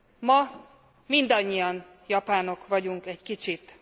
Ma mindannyian japánok vagyunk egy kicsit.